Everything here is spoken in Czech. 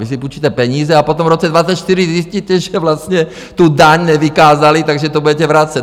Vy si půjčíte peníze a potom v roce 2024 zjistíte, že vlastně tu daň nevykázali, takže to budete vracet.